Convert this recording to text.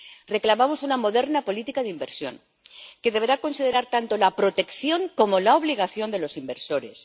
Reclamamos una moderna política de inversión, que deberá considerar tanto la protección como las obligaciones de los inversores